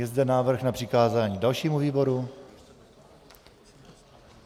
Je zde návrh na přikázání dalšímu výboru?